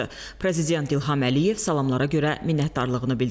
Prezident İlham Əliyev salamlara görə minnətdarlığını bildirdi.